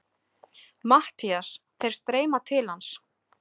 MATTHÍAS: Þeir streyma til hans.